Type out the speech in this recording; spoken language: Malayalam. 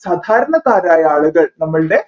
സാധാരണക്കാരായ ആളുകൾ നമ്മൾടെ